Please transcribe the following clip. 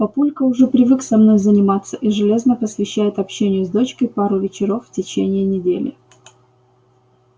папулька уже привык со мной заниматься и железно посвящает общению с дочкой пару вечеров в течение недели